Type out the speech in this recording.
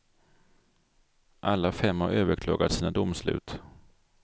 Alla fem har överklagat sina domslut.